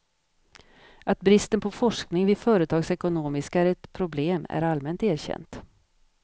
Att bristen på forskning vid företagsekonomiska är ett problem är allmänt erkänt.